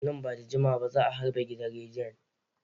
Nan ba da jimawa ba za a harbe gidan rediyon.